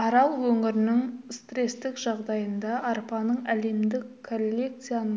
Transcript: арал өңірінің стрестік жағдайында арпаның әлемдік коллекцияның